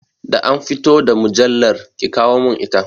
Da an fito da mujallar, ki kawo mun ita!